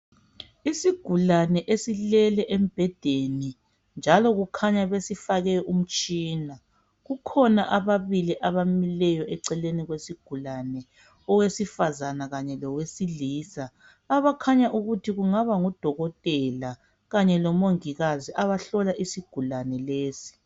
isigulane esilele embhedeni njalo kukhanya besifake umtshina kukhona ababili abamileyo eceleni kwesigulane owesifazana kanye lowesilisa abakhanya ukuthi kungaba ngodokotela kanye lomongikazi abahlola isaisgulane lesi